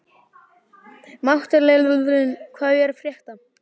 Matthilda, hvað er að frétta?